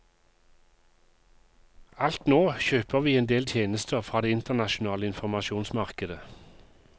Alt nå kjøper vi en del tjenester fra det internasjonale informasjonsmarkedet.